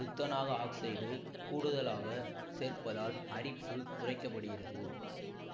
துத்தநாக oxide கூடுதலாக சேர்ப்பதால் அரிப்பு குறைக்கப்படுகிறது